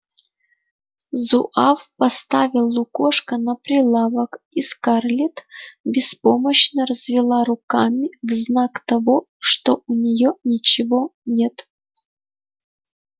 зуав поставил лукошко на прилавок и скарлетт беспомощно развела руками в знак того что у неё ничего нет